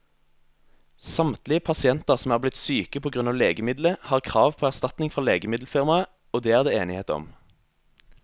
Samtlige pasienter som er blitt syke på grunn av legemiddelet, har krav på erstatning fra legemiddelfirmaet, det er det enighet om.